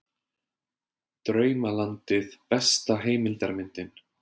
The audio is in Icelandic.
Draumalandið besta heimildarmyndin